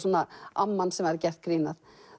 amman sem væri gert grín að